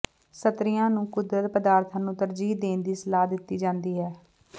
ਸਤਰੀਆਂ ਨੂੰ ਕੁਦਰਤੀ ਪਦਾਰਥਾਂ ਨੂੰ ਤਰਜੀਹ ਦੇਣ ਦੀ ਸਲਾਹ ਦਿੱਤੀ ਜਾਂਦੀ ਹੈ